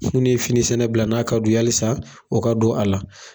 Mun ni ye fini sɛnɛ bila n'a ka du ye halisa o ka don a la.